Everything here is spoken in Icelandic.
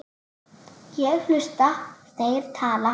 Ég hlusta, þeir tala.